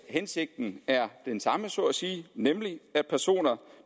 hensigten er den samme så at sige nemlig at personer